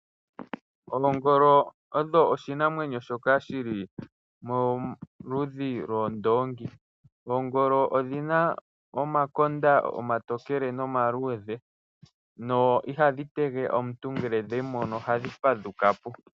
Oongolo odho iinamwenyo yi li moludhi lwoondongi. Oongolo odhi na omakonda omatokele nomaludhe no iha dhi tege omuntu ngele dhe mu mono oha dhi fadhuka po.